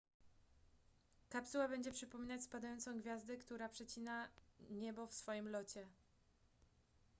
kapsuła będzie przypominać spadającą gwiazdę która przecina niebo w swoim locie